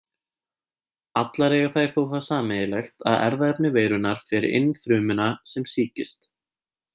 Allar eiga þær þó það sameiginlegt að erfðaefni veirunnar fer inn frumuna sem sýkist.